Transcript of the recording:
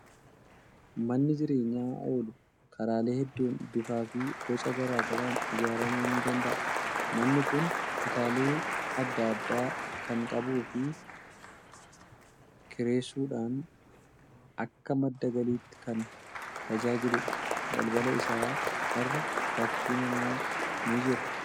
Manni jireenyaa oolu karaalee hedduun bifaa fi boca garaa garaan ijaaramuu ni danda'a. Manni kun kutaalee adda addaa kan qabuu fi kireessuudhaan akka madda galiitti kan tajaajiludha. Balbala isaa irra fakkiin namaa ni jira.